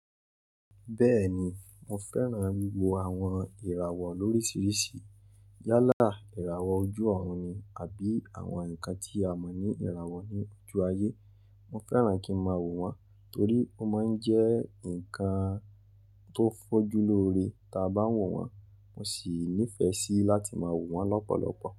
Bẹ́ẹ̀ni, mo fẹ́ràn wí wo àwọn ìràwọ̀ lórísìírísìí. Yálà ìràwọ̀ ojú ọ̀run ni àbí àwọn nǹkan tí a mọ̀ ní ìràwọ̀ ní ojú ayé. Mo fẹ́ràn kí ń máa wò wọ́n torí ó máa ń jẹ́ ǹkan tó fójú lóore tí a bá wò wọ́n. Mo sì nífẹ̀ẹ́ sí láti máa wò wọ́n lọ́pọ̀lọpọ̀.